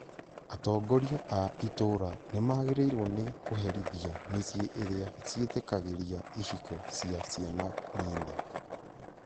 Atongoria a itũũra nĩ magĩrĩirwo nĩ kũherithia mĩciĩ iria ciĩtĩkagĩria ihiko cia ciana nini